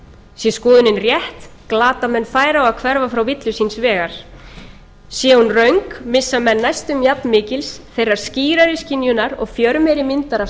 sé skoðunin rétt glata menn færi á að hverfa frá villu síns vegar sé hún röng missa menn næstum jafnmikils þeirrar skýrari skynjunar og fjörmeiri myndar af